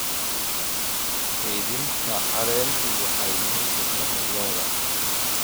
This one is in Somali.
Kaydinta caleentu waxay muhiim u tahay lo'da.